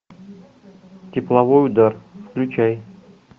тепловой удар включай